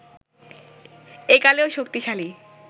একালেও শক্তিশালী